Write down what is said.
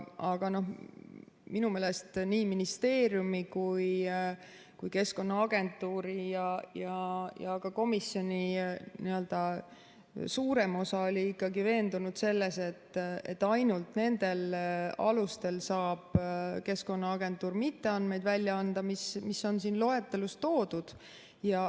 Aga minu meelest nii ministeeriumi kui ka Keskkonnaagentuuri ja komisjoni suurem osa oli ikkagi veendunud selles, et ainult nendel alustel saab Keskkonnaagentuur mitte andmeid välja anda, mis on siin loetelus toodud.